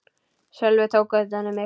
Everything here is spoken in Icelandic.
Sölvi tók utan um mig.